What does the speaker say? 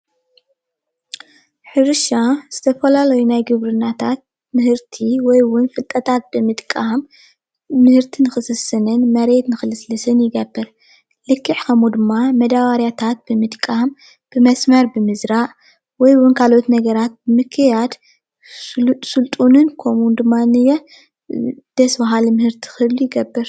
ሕርሻ ዝተፈላለዩ ናይ ግብርናታት ምህርቲ ወይውን ፍልጠታት ብምጥቃም ምህርቲ ንክስስንን መሬት ንክልስልስን ይገብር። ልክዕ ከምኡ ድማ መደባርያታት ብምጥቃም ብመስመር ብምዝራእ ወይውን ካልኦት ነገራት ብምክያድ ስልጡንን ከምኡ እዉን ድማነየ ደስ ባሃሊ ምህርቲ ክህሊ ይገብር።